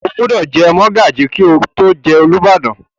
O gbúdọ̀ jẹ mọ́gàjí kí o tó jẹ Olúbàdàn?